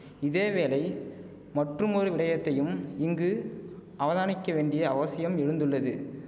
இதே வேளை மற்றுமொரு விடயத்தையும் இங்கு அவதானிக்க வேண்டிய அவசியம் எழுந்துள்ளது